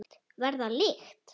Verða lykt.